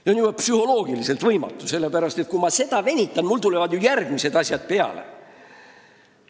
See on juba psühholoogiliselt võimatu, sellepärast et kui ma sellega venitan, siis mul tulevad ju järgmised asjad peale.